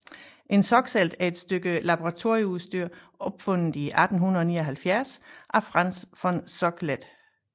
En Soxhlet er et stykke laboratorieudstyr opfundet i 1879 af Franz von Soxhlet